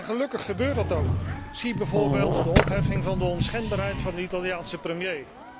Gelukkig gebeurt dat ook, zie bijvoorbeeld de opheffing van de onschendbaarheid van de Italiaanse premier.